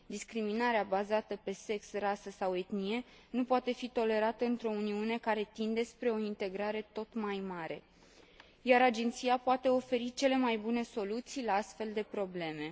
Discriminarea bazată pe sex, rasă sau etnie nu poate fi tolerată într o Uniune care tinde spre o integrare tot mai mare, iar Agenția poate oferi cele mai bune soluții la astfel de probleme.